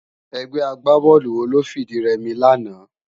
Ègbè ágbábòlú wó ló fi di rèmi làná?